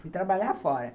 Fui trabalhar fora.